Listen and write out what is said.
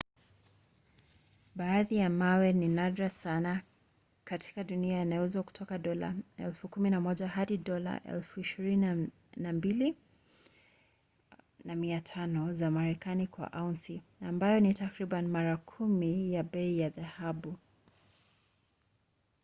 baadhi ya mawe ambayo ni nadra sana katika dunia yanauzwa kutoka dola 11,000 hadi dola 22,500 za marekani kwa aunsi ambayo ni takriban mara kumi ya bei ya dhahabu